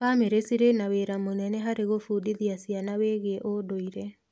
Bamĩrĩ cirĩ na wĩra mũnene harĩ gũbundithia ciana wĩgie ũndũire.